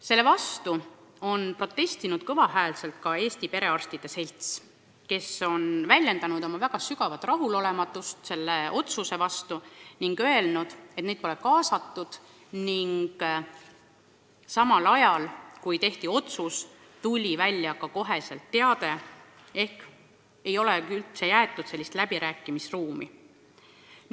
Selle vastu on kõva häälega protestinud ka Eesti Perearstide Selts, kes on väljendanud väga sügavat rahulolematust selle otsusega ning öelnud, et neid pole kaasatud, et üldse pole jäetud läbirääkimisruumi.